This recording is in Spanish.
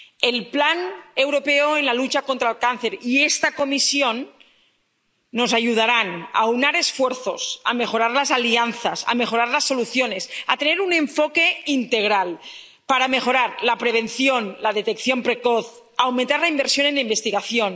El Plan Europeo de Lucha contra el Cáncer y esta Comisión nos ayudarán a aunar esfuerzos, a mejorar las alianzas, a mejorar las soluciones, a tener un enfoque integral para mejorar la prevención, la detección precoz, a aumentar la inversión en investigación.